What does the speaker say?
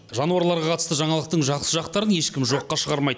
жануарларға қатысты жаңалықтың жақсы жақтарын ешкім жоққа шығармайды